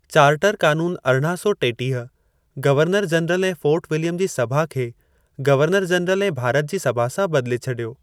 Charter क़ानून अरड़िहां सौ टेटीह, गवर्नर-जनरल ऐं फ़ोर्ट विलियम जी सभा खे गवर्नर-जनरल ऐं भारत जी सभा सां बदिले छॾियो।